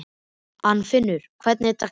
Arnfinnur, hvernig er dagskráin?